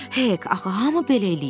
Hek, axı hamı belə eləyir.